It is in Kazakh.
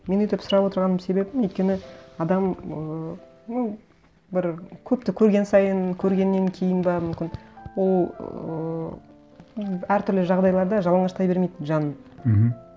мен өйтіп сұрап отырған себебім өйткені адам ыыы ну бір көпті көрген сайын көргеннен кейін бе мүмкін ол ыыы м әртүрлі жағдайларда жалаңаштай бермейді жанын мхм